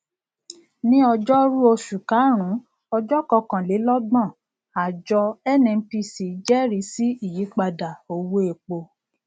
ní ọjórú oṣù karùnún ọjọkọkànlélọgbọn àjọ nnpc jẹẹrí sí ìyípadà owó epo